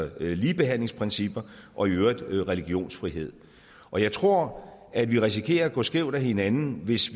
og ligebehandlingsprincipper og i øvrigt religionsfrihed og jeg tror at vi risikerer at gå skævt af hinanden hvis